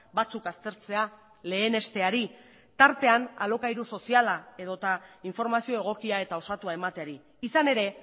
batzuk aztertzea lehenesteari tartean alokairu soziala edota informazio egokia eta osatua emateari izan ere